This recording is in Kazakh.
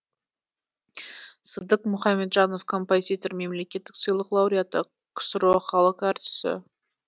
сыдық мұхамеджанов композитор мемлекеттік сыйлық лауреаты ксро халық әртісі